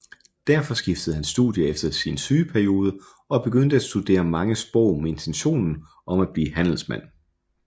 Derfor skiftede han studie efter sin sygeperiode og begyndte at studere mange sprog med intentionen om at blive handelsmand